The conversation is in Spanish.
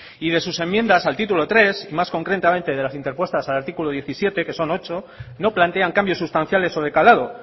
y de sus enmiendas al título tres y más concretamente de las interpuestas al artículo diecisiete que son ocho no plantean cambios sustanciales o de calado